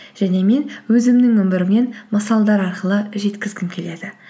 және мен өзімнің өмірімнен мысалдар арқылы жеткізгім келеді